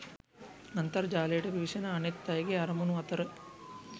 අන්තර්ජාලයට පිවිසෙන අනෙත් අයගේ අරමුණු අතර